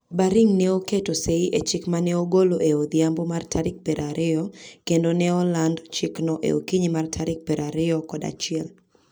Baring ne oketo sei e chik ma ne ogolo e odhiambo mar tarik piero ariyo, kendo ne oland chikno e okinyi mar tarik piero ariyo kod achiel.